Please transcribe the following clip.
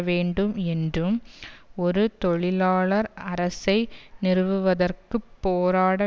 வேண்டும் என்றும் ஒரு தொழிலாளர் அரசை நிறுவுவதற்குப் போராட